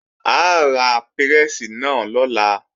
A ra pírẹ́sì náà lọ́la